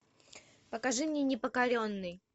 покажи мне непокоренный